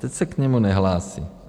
Teď se k němu nehlásí.